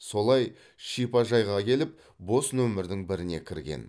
солай шипажайға келіп бос номердің біріне кірген